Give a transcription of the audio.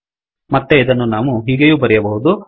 ಮತ್ತೆ ಇದನ್ನು ನಾವು ಹೀಗೆಯೂ ಬರೆಯಬಹುದು